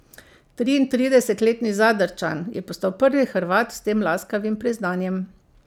Triintridesetletni Zadrčan je postal prvi Hrvat s tem laskavim priznanjem.